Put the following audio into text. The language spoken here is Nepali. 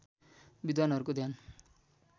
विद्वानहरूको ध्यान